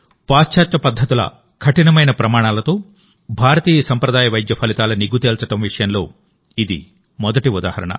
పాశ్చాత్య పద్ధతుల కఠినమైన ప్రమాణాలతో భారతీయ సంప్రదాయ వైద్య ఫలితాల నిగ్గు తేల్చడం విషయంలో ఇది మొదటి ఉదాహరణ